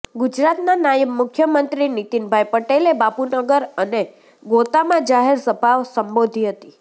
ગુજરાતના નાયબ મુખ્યમંત્રી નીતિન ભાઇ પટેલે બાપુનગર અને ગોતામાં જાહેર સભા સંબોધી હતી